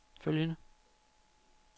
følgende